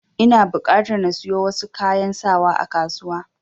Ina buƙatar na siyo wasu kayan sawa a kasuwa.